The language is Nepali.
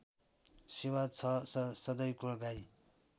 सेवा छ सधैँको गाई